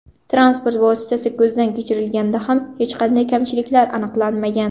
Transport vositasi ko‘zdan kechirilganida ham hech qanday kamchiliklar aniqlanmagan.